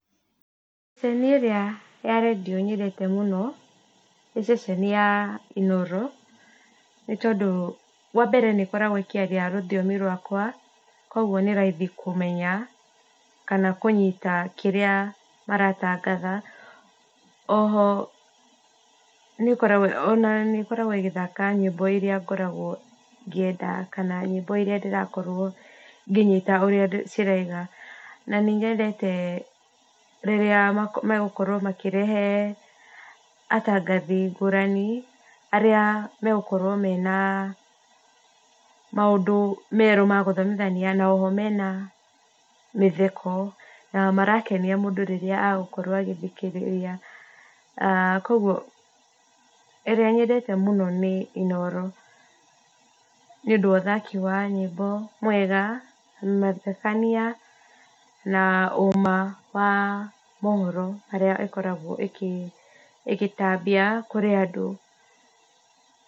Ceceni ĩrĩa ya redio ĩrĩa nyendete mũno, nĩ ceceni ya Inoro, nĩ tondũ wa mbere nĩ ĩkoragwo ĩkĩaria rũthiomi rwakwa, kũgwo nĩ raithi kũmenya, kana kũnyita kĩrĩa maratangatha, oho nĩ ĩkoragwo ona ĩkoragwo ĩgĩthaka nyĩmbo iria ngoragwo ngĩenda, kana nyĩmbo iria ndĩrakorwo ngĩnyita ũrĩa ciraiga, na nĩ nyendete rĩrĩa megũkorwo makĩrehe atangathi ngũrani , arĩa magũkorwo mena maũndũ merũ magũthomithania mena mĩtheko na marakenia mũndũ rĩrĩa agũkorwo agĩthikĩrĩria, kũgwo ĩrĩa nyendete mũno nĩ Inoro, nĩ ũndũ wa ũthaki wa nyĩmbo mwega mathekania, na ũma wa mahoro marĩa ĩkoragwo ĩkĩ ĩgĩtambia kũrĩ andũ